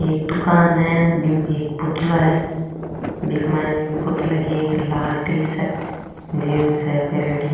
एक दुकान है बीमे एक पुतला है बिक माइन पुतला की एक लाल टी-शर्ट जींस है पैरेडी।